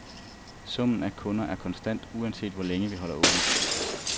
Summen af kunder er konstant, uanset hvor længe vi holder åbent.